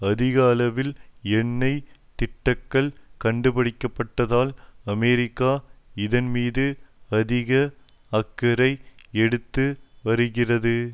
அதிக அளவில் எண்ணெய் திட்டுக்கள் கண்டுபிடிக்கப்பட்டதால் அமெரிக்கா இதன்மீது அதிக அக்கறை எடுத்து வருகிறது